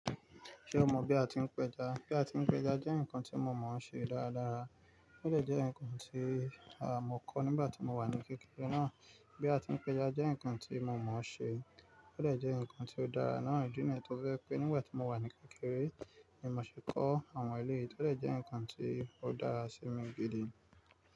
Ṣé o mọ̀ bí a ti ń péja? Bí a ti ń péja jẹ́ nǹkan tí mo mọ̀o ṣe dáradára. Ó de jẹ́ ǹkan tí, à, mọ kọ́ nígbàtí mo wà ní kékeré náà. Bí a ti ń péja jẹ́ ǹkan tí mo mọ̀ ọ́n ṣe. Ó de jẹ́ ǹkan tí ó dára náà idi níyi tọ je pé nígbà tí mo wà ní kékeré, ni mò ṣe kọ́ àwọn eléyìí. Ó de jẹ́ ǹkan tí ó dára sí mi gidi.